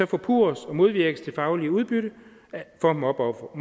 forpurres og modvirkes det faglige udbytte for mobbeofferet